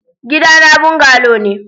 Gidana bungalow ne.